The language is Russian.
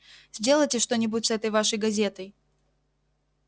сделайте что-нибудь с этой вашей газетой